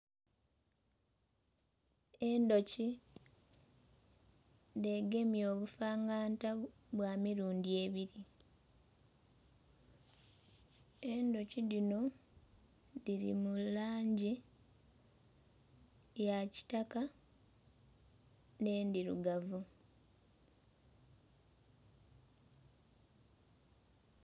Endhoki dhegemye obufangata bwa mirundhi ebiri endhoki dhino dhiri mulangi ya kitaka nhe ndhirugavu